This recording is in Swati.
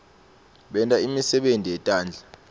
benta imisebenti yetandla